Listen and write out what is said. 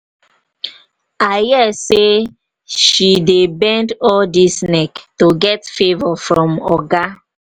i hear say she dey bend all dis neck to get favour from oga.